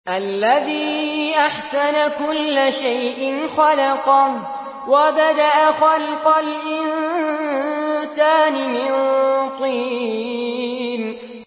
الَّذِي أَحْسَنَ كُلَّ شَيْءٍ خَلَقَهُ ۖ وَبَدَأَ خَلْقَ الْإِنسَانِ مِن طِينٍ